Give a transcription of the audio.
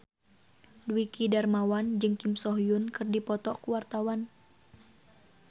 Dwiki Darmawan jeung Kim So Hyun keur dipoto ku wartawan